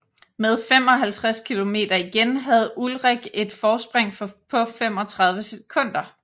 Med 55 kilometer igen havde Ullrich et forspring på 35 sekunder